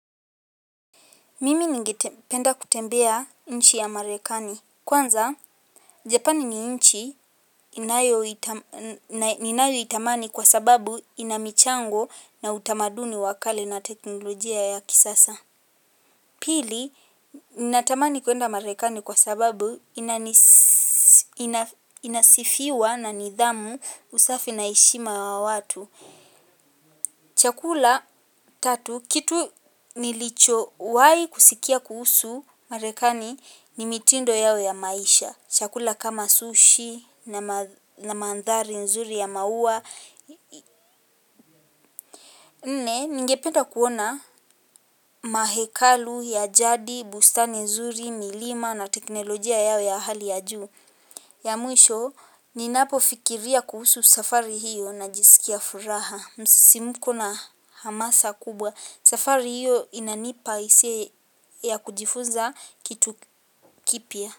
Mimi ningependa kutembea nchi ya marekani. Kwanza, Japani ni nchi inayo itamani kwa sababu inamichango na utamaduni wakale na teknolojia ya kisasa. Pili, natamani kwenda marekani kwa sababu inasifiwa na nidhamu usafi na heshima ya watu. Chakula tatu kitu nilichowahi kusikia kuhusu marekani ni mitindo yao ya maisha. Chakula kama sushi na mandhari nzuri ya maua nne ningependa kuona mahekalu ya jadi, bustani nzuri, milima na teknolojia yao ya hali ya juu. Ya mwisho ninapo fikiria kuhusu safari hiyo najisikia furaha. Msisimuko na hamasa kubwa safari hiyo inanipa hisia ya kujifunza kitu kipya.